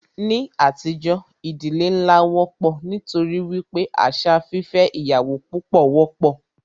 Ní àtijọ́, ìdílé nlá wọ́pọ̀ nítorí wípé àṣà fífẹ́ ìyàwó púpọ wọ́pọ̀.